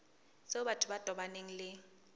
tseo batho ba tobaneng le